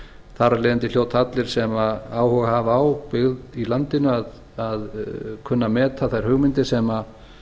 þar af leiðandi hljóta allir sem áhuga hafa á byggð í landinu að kunna að meta þær hugmyndir sem